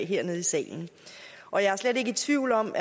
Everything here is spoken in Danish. her nede i salen og jeg er slet ikke i tvivl om